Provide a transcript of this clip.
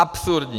Absurdní!